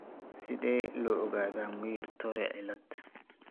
Sidee loo ogaadaa Muir Torre cilad?